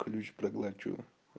ключ проглочу